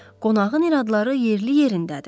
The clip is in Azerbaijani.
Qonağın iradları yerli-yerindədir.